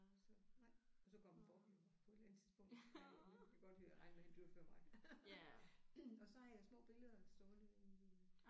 Så nej og så går man bort jo på et eller andet tidspunkt men men jeg kan godt lide at regne med han dør før mig. Og så har jeg små billeder stående i